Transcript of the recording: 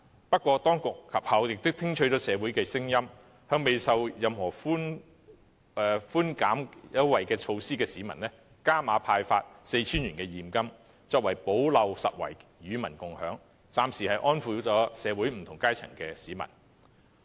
不過，當局及後聽取了社會的聲音，向未受惠任何寬減措施的市民加碼派發 4,000 元現金，作為補漏拾遺，與民共享經濟成果，暫時安撫了社會不同階層的市民。